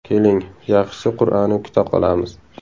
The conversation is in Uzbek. Keling, yaxshisi qur’ani kuta qolamiz.